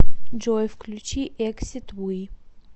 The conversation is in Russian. джой включи эксид ви